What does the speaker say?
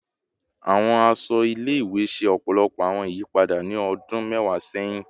Awọn aṣọ ile-iwe ṣe ọpọlọpọ awọn iyipada ni ọdun mẹwa sẹhin